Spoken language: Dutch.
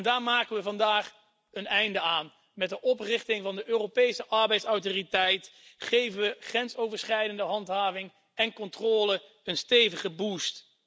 Daar maken we vandaag een einde aan met de oprichting van de Europese Arbeidsautoriteit geven we grensoverschrijdende handhaving en controle een stevige boost